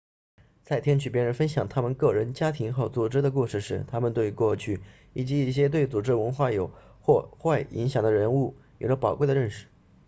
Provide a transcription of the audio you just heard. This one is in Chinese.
在听取别人分享他们个人家庭和组织的故事时我们对过去以及一些对组织文化有或好或坏影响的人物有了宝贵的认识